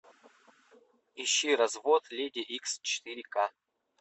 ищи развод леди икс четыре ка